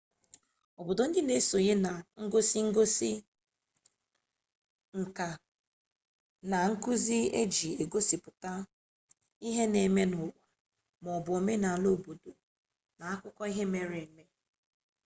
obodo ndị na-esonye na egosi ngosi nka na nkụzi iji gosipụta ihe na-eme n'ụwa maọbụ omenala obodo na akụkọ ihe mere eme